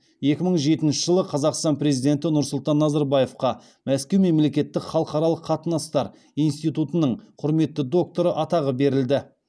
екі мың жетінші жылы қазақстан президенті нұрсұлтан назарбаевқа мәскеу мемлекеттік халықаралық қатынастар институтының құрметті докторы атағы берілді